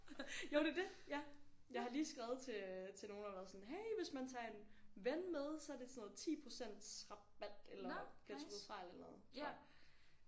Jo det er det ja jeg har lige skrevet til øh til nogen og været sådan hey hvis man tager en ven med så er det sådan noget 10% rabat eller bliver trukket fra eller noget tror jeg